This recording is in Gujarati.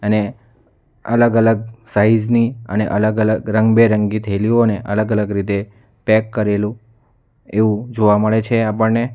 ને અલગ-અલગ સાઈઝ ની અને અલગ-અલગ રંગબેરંગી થયેલીઓને અલગ અલગ રીતે પેક કરેલું એવું જોવા મળે છે આપણને.